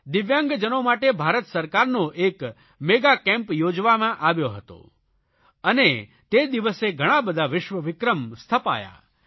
દિવ્યાંગજનો માટે ભારત સરકારનો એક મેગા કેમ્પ યોજવામાં આવ્યો હતો અને તે જિવસે ઘણાબધા વિશ્વવિક્રમ સ્થપાયા